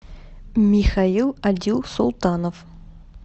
михаил адилсултанов